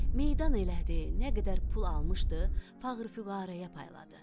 Meydan elədi, nə qədər pul almışdı, fağır-füqəraya payladı.